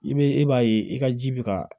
I be e b'a ye i ka ji bɛ ka